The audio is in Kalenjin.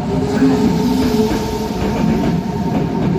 Kakiumianse en imanit raani